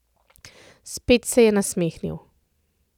Spet se je nasmehnil.